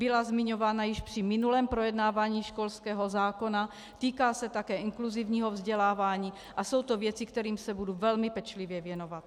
Byla zmiňována již při minulém projednávání školského zákona, týká se také inkluzivního vzdělávání a jsou to věci, kterým se budu velmi pečlivě věnovat.